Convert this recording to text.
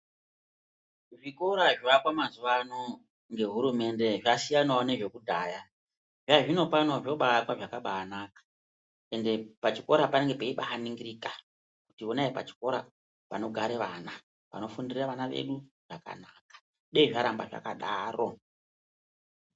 Zvikora zvoakwa mazuwa ano ngehurumende zvasiyanawo nezvekudhaya. Zvazvinopano zvobaakwa zvakabaanaka, ende pachikora panonga peibaaningirika, kuti onai pachikora panogare vana. Panofundire vana vedu zvakanaka. Deyi zvaramba zvakadaro.